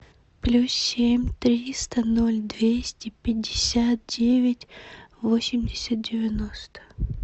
плюс семь триста ноль двести пятьдесят девять восемьдесят девяносто